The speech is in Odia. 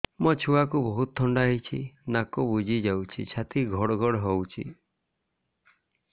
ମୋ ଛୁଆକୁ ବହୁତ ଥଣ୍ଡା ହେଇଚି ନାକ ବୁଜି ଯାଉଛି ଛାତି ଘଡ ଘଡ ହଉଚି